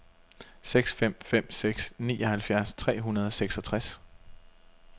seks fem fem seks nioghalvfjerds tre hundrede og seksogtres